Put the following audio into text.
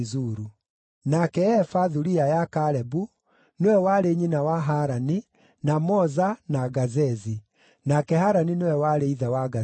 Nake Efa, thuriya ya Kalebu, nĩwe warĩ nyina wa Harani, na Moza, na Gazezi. Nake Harani nĩwe warĩ ithe wa Gazezi.